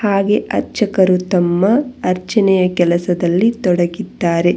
ಹಾಗೆ ಅರ್ಚಕರು ತಮ್ಮ ಅರ್ಚನೆಯ ಕೆಲಸದಲ್ಲಿ ತೊಡಗಿದ್ದಾರೆ.